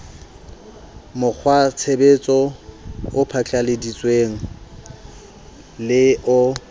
mokgwatshebetso o phatlalladitsweng le o